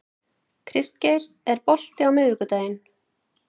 Kristgeir, er bolti á miðvikudaginn?